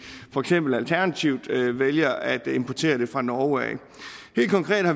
for eksempel alternativt vælger at importere det fra norge